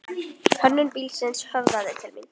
Hönnun bílsins höfðaði til mín.